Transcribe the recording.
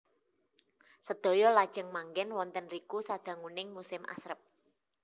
Sedaya lajeng manggèn wonten riku sadanguning musim asrep